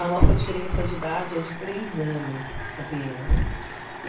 A nossa diferença de idade é de três anos, apenas.